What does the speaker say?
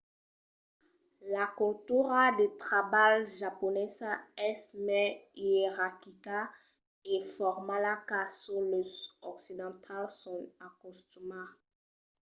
la cultura de trabalh japonesa es mai ierarquica e formala qu'a çò que los occidentals son acostumats